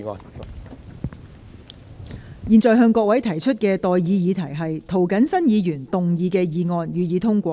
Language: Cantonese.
我現在向各位提出的待議議題是：涂謹申議員動議的議案，予以通過。